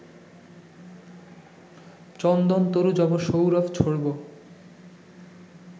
চন্দনতরু যব সৌরভ ছোড়ব